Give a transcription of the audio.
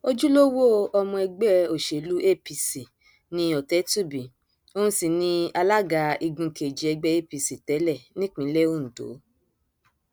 ojúlówó ọmọ ẹgbẹ òsèlú apc ni ọtẹtùbí òun sì ni alága igun kejì ẹgbẹ apc tẹlẹ nípínlẹ ondo